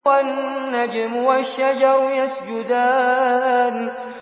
وَالنَّجْمُ وَالشَّجَرُ يَسْجُدَانِ